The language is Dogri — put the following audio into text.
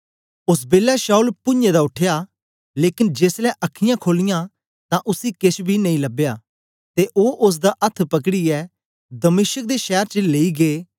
ओस बेलै शाऊल पुञें दा उठया लेकन जेसलै अखीयाँ खोलीयां तां उसी केछ बी नेई लबया ते ओ ओसदा अथ्थ पकड़ीयै दमिश्क दे शैर च लेई गै